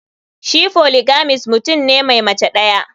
Shi polygamist mutum ne Mai Mace daya.